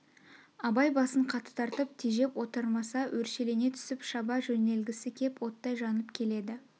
абай басын қатты тартып тежеп отырмаса өршелене түсіп шаба жөнелгісі кеп оттай жанып келеді